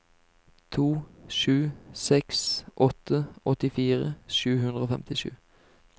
to sju seks åtte åttifire sju hundre og femtisju